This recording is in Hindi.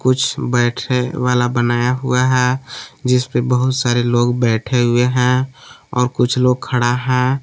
कुछ बैठे वाला बनाया हुआ है जिसपे बहुत सारे लोग बैठे हुए हैं और कुछ लोग खड़ा है।